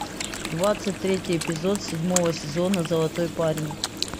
двадцать третий эпизод седьмого сезона золотой парень